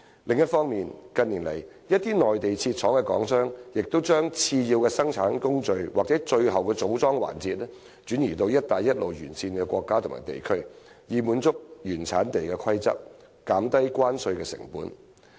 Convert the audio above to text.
另一方面，近年來，一些在內地設廠的港商已將次要生產工序或最後組裝環節，轉移至"一帶一路"沿線國家和地區，以滿足原產地規則，減低關稅成本。